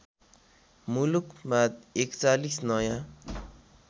मुलुकमा ४१ नयाँ